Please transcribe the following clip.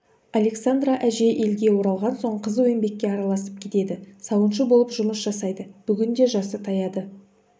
александра әжей елге оралған соң қызу еңбекке араласып кетеді сауыншы болып жұмыс жасайды бүгінде жасы таяды